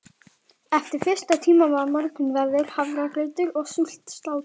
Eftir fyrsta tíma var morgunverður, hafragrautur og súrt slátur.